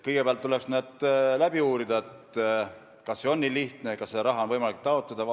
Kõigepealt tuleks uurida, kas see on nii lihtne, kas seda raha on võimalik taotleda.